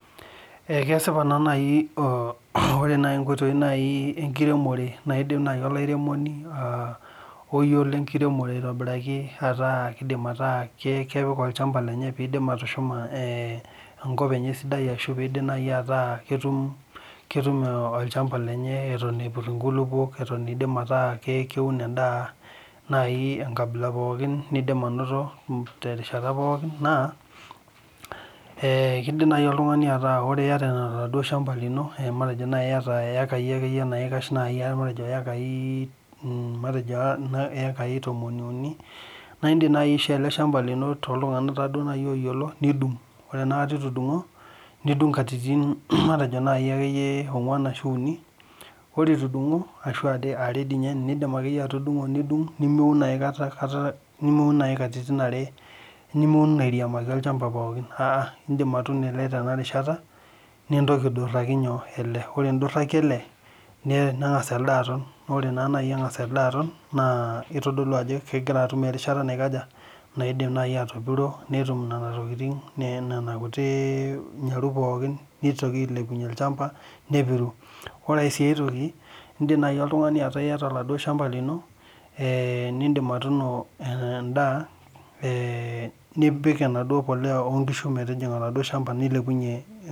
Ekesipa nai ore enkoitoi enkiremore naidim olaremoni oyiolo enkiremore aitobiraki ataa olchamba lenye petum atushuma metaa ketum olchamba lenye eton epir nkulukuok atan aa keun endaa pokki nindim terishata pooki na kidim nai oltungani aaku ore iata ilo shamba lino matejo nai iyata ekai matejo tomoni uni na indim nai ashoo eleshamba lino nidung ore itudungo nidung katitin uni ore itudungo are duo nai enindim atudungo nidung niuni airiamiki olchamba pooki niun nintoki aiduraki ele ore induraki ele nengasa ele aton ero etonita ele na kitadolu ajo kidim atopiro netum nona tokitin nitoki ailepunye olchamba nepiru ore si aitoki indim oltungani ataa iyata olchamba lino nipik enaduo polea onkishu oladuo shamba nilepunye